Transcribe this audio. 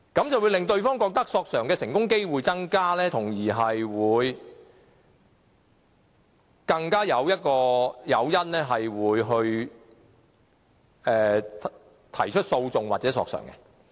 這會令對方覺得索償的成功機會增加，從而增加誘因提出訴訟或索償。